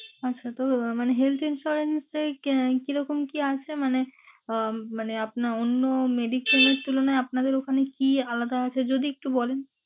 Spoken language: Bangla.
আচ্ছা তো মানে health insurance এ কি রকম কি আছে মানে উম মানে আপনার অন্য medicine এর তুলনায় আপনাদের ওখানে কি আলাদা আছে, যদি একটু বলেন?